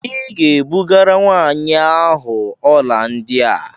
Ị ga-ebugara nwaanyị ahụ ọla ndị a!